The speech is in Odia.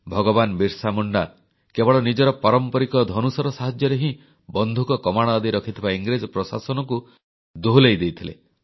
ଭଗବାନ ବିର୍ସା ମୁଣ୍ଡା କେବଳ ନିଜର ପାରମ୍ପରିକ ଧନୁଶର ସାହାଯ୍ୟରେ ହିଁ ବନ୍ଧୁକ କମାଣ ଆଦି ରଖିଥିବା ଇଂରେଜ ପ୍ରଶାସନଙ୍କୁ ଦୋହଲାଇ ଦେଇଥିଲେ